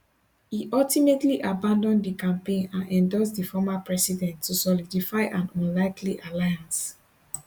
e ultimately abandon di campaign and endorse di former president to solidify an unlikely alliance